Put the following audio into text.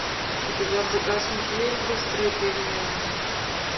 у тебя в загашнике есть быстрые перемены